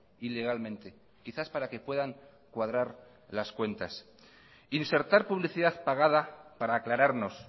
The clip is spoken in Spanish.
ilegalmente quizás para que puedan cuadrar las cuentas insertar publicidad pagada para aclararnos